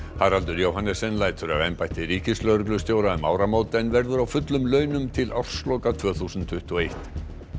Haraldur Johannessen lætur af embætti ríkislögreglustjóra um áramót en verður á fullum launum til ársloka tvö þúsund tuttugu og eitt